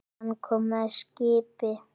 Hann kom með skipi.